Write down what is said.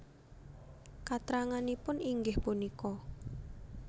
Katranganipun inggih punika